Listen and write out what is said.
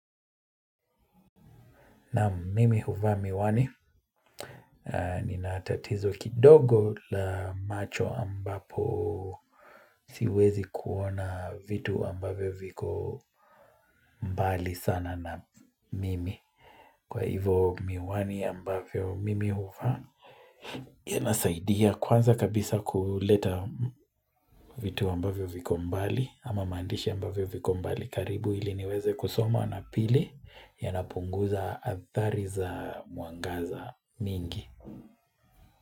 Naam mimi huva miwani nina tatizo kidogo la macho ambapo siwezi kuona vitu ambavyo viko mbali sana na mimi. Kwa hivo miwani ambavyo mimi huvaa yanasaidia kwanza kabisa kuleta vitu ambavyo viko mbali ama mandishi ambavyo viko mbali karibu ili niweze kusoma na pili yanapunguza athari za mwangaza mingi.